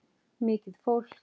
Mikið fólk.